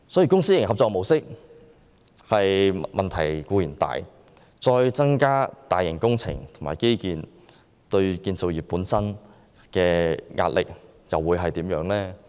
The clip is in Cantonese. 公私營合作模式本身已有很大問題，若再進行更多大型工程和基建項目，對建造業會構成多大壓力？